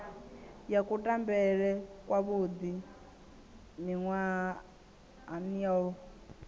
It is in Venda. ya kutambele kwavhuḓi miṅwahani yo